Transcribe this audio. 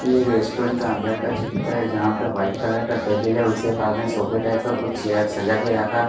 ये एक रेस्टोरेंट का अंदर का चित्र है जहाँ पे व्हाइट कलर का टेबल है उसके पास में सोफा टाइप का कुछ चेयर सजा के रखा है--